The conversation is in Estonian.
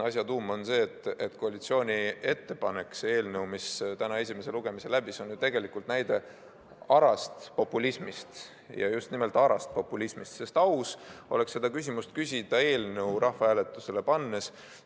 Asja tuum on see, et koalitsiooni ettepanek, see eelnõu, mis täna esimese lugemise läbis, on tegelikult näide ara populismi kohta ja just nimelt ara populismi kohta, sest aus oleks seda küsimust küsida eelnõu rahvahääletusele pannes.